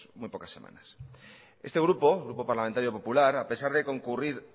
muy pocas semanas este grupo grupo parlamentario popular a pesar de concurrir